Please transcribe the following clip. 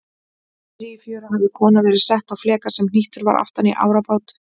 Niðri í fjöru hafði kona verið sett á fleka sem hnýttur var aftan í árabát.